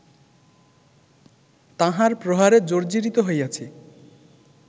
তাঁহার প্রহারে জর্জ্জিরিত হইয়াছি